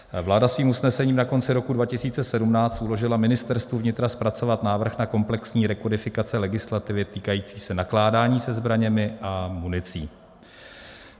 Vláda svým usnesením na konci roku 2017 uložila Ministerstvu vnitra zpracovat návrh na komplexní rekodifikace legislativy týkající se nakládání se zbraněmi a municí.